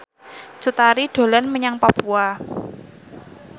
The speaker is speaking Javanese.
Cut Tari dolan menyang Papua